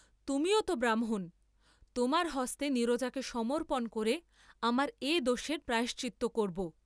তুমিও তো ব্রাহ্মণ, তোমার হস্তে নীরজাকে সমর্পণ করে আমার এ দোষের প্রায়শ্চিত্ত করব।